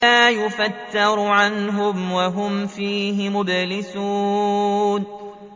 لَا يُفَتَّرُ عَنْهُمْ وَهُمْ فِيهِ مُبْلِسُونَ